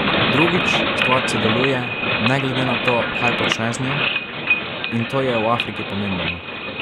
Drugič, stvarca deluje, ne glede na to, kaj počneš z njo, in to je v Afriki pomembno.